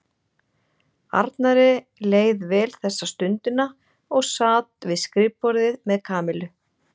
Arnari leið vel þessa stundina og sat við skrifborðið með Kamillu.